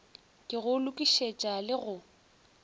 ke go lokišetša le go